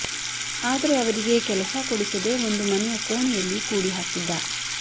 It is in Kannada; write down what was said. ಆದರೆ ಅವರಿಗೆ ಕೆಲಸ ಕೊಡಿಸದೆ ಒಂದು ಮನೆಯ ಕೋಣೆಯಲ್ಲಿ ಕೂಡಿ ಹಾಕಿದ್ದ